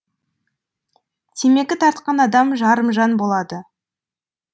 темекі тартқан адам жарымжан болады